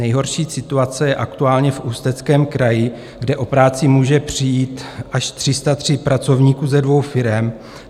Nejhorší situace je aktuálně v Ústeckém kraji, kde o práci může přijít až 303 pracovníků ze dvou firem.